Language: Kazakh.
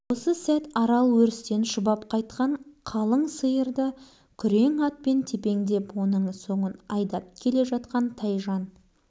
арал өрістен тоймай қайтқандай болып жалмаңдап ауа жайылғысы келген сиырды қайырып тұрады